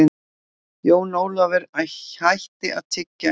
Jón Ólafur hætti að tyggja eitt augnablik.